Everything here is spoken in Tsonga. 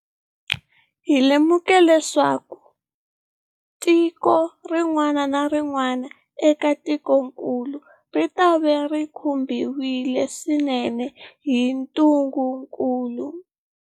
Hi lemukile leswaku tiko rin'wana na rin'wana eka tikokulu ritava ri khumbiwile swinene hi ntungukulu.